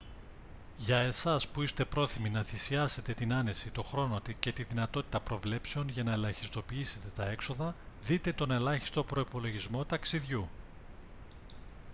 για εσάς που είστε πρόθυμοι να θυσιάσετε την άνεση τον χρόνο και τη δυνατότητα προβλέψεων για να ελαχιστοποιήσετε τα έξοδα δείτε τον ελάχιστο προϋπολογισμό ταξιδιού